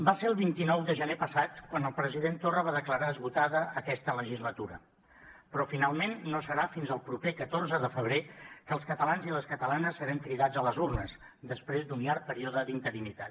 va ser el vint nou de gener passat quan el president torra va declarar esgotada aquesta legislatura però finalment no serà fins al proper catorze de febrer que els catalans i les catalanes serem cridats a les urnes després d’un llarg període d’interinitat